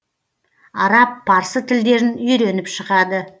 араб парсы тілдерін үйреніп шығады